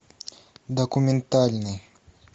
документальный